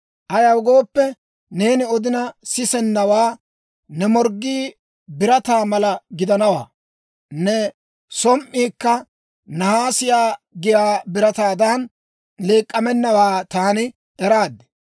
Ayaw gooppe, neeni odina sisennawaa, ne morggii birataa mala gidiyaawaa, ne som"iikka nahaasiyaa giyaa birataadan leek'amennawaa taani eraad.